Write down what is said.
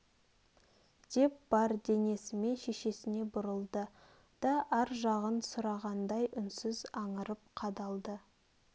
деп бар денесімен шешесіне бұрылды да ар жағын сұрағандай үнсіз аңырып қадалды